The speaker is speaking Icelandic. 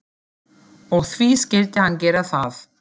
Og því skyldi hann gera það.